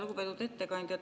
Lugupeetud ettekandja!